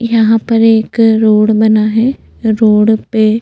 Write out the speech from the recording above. यहाँ पर एक रोड बना है रोड पे --